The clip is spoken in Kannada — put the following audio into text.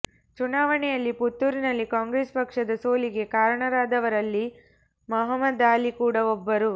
ಚುನಾವಣೆಯಲ್ಲಿ ಪುತ್ತೂರಿನಲ್ಲಿ ಕಾಂಗ್ರೆಸ್ ಪಕ್ಷದ ಸೋಲಿಗೆ ಕಾರಣರಾದವರಲ್ಲಿ ಮಹಮ್ಮದಾಲಿ ಕೂಡಾ ಒಬ್ಬರು